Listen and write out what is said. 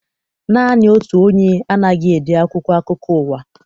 Naanị otu onye anaghị ede akwụkwọ akụkọ ụwa.